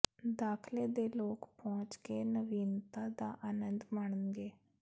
ਦਾਖਲੇ ਦੇ ਲੋਕ ਪਹੁੰਚ ਦੇ ਨਵੀਨਤਾ ਦਾ ਆਨੰਦ ਮਾਣਨਗੇ